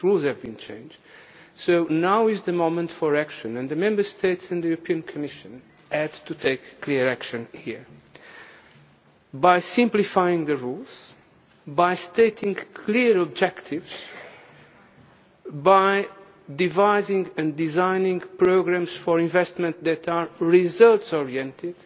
rules the rules have been changed, so now is the moment for action. The Member States and the European Commission had to take clear action here, by simplifying the rules, by stating clear objectives, by devising and designing programmes for investment that are results oriented